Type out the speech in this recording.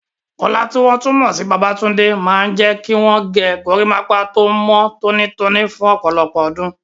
Kola, tí wọ́n tún mọ̀ sí Babatunde, máa ń jẹ́ kí wọ́n gé gorímápá tó mọ́ tónítóní fún ọ̀pọ̀lọpọ̀ ọdún.